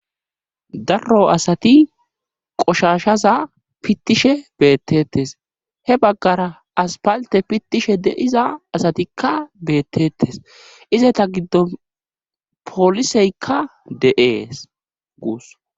darro asati qoshashaza pittishe beettettes he baggara aspalte pittishe deiza asatikka beettetes ize ta giddo pooliseykka de7ees guus